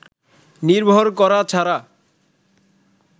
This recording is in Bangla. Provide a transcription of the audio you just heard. নির্ভর করা ছাড়া